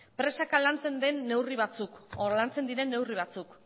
presaka lantzen diren neurri batzuk